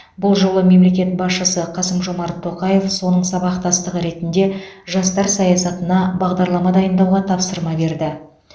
бұл жолы мемлекет басшысы қасым жомарт тоқаев соның сабақтастығы ретінде жастар саясатында бағдарлама дайындауға тапсырма берді